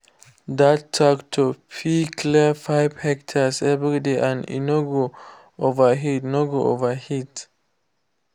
that tractor fit clear five hectares every day and e no go overheat no go overheat